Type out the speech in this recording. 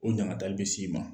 O ɲangata bɛ se i ma